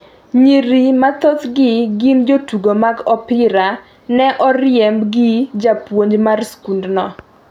Nyiri ma thothgi gin jotugo mag opira, ne oriemb gi japuonj mar skundno.